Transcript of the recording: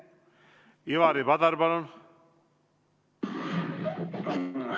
Ivari Padar, palun!